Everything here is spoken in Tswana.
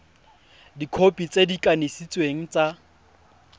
dikhopi tse di kanisitsweng tsa